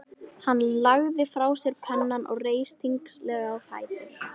Hann lagði frá sér pennann og reis þyngslalega á fætur.